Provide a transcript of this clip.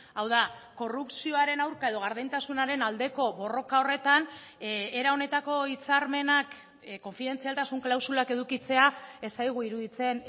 hau da korrupzioaren aurka edo gardentasunaren aldeko borroka horretan era honetako hitzarmenak konfidentzialtasun klausulak edukitzea ez zaigu iruditzen